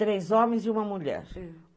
Três homens e uma mulher.